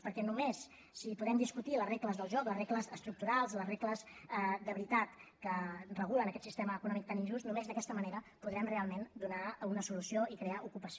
perquè només si podem discutir les regles del joc les regles estructurals les regles de veritat que regulen aquest sistema econòmic tan injust només d’aquesta manera podrem realment donar una solució i crear ocupació